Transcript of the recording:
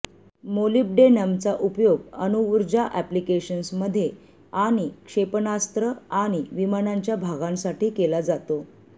मोलिब्डेनमचा उपयोग अणुऊर्जा अप्लिकेशन्समध्ये आणि क्षेपणास्त्र आणि विमानांच्या भागांसाठी केला जातो